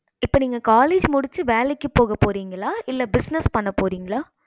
இப்ப நீங்க college முடிச்சி வேலைக்கு போக போறீங்கள்ள இல்ல business பண்ண போறிங்களா